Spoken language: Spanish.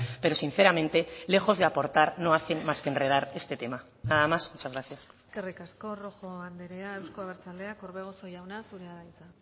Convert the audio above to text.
pero sinceramente lejos de aportar no hacen más que enredar este tema nada más muchas gracias eskerrik asko rojo andrea euzko abertzaleak orbegozo jauna zurea da hitza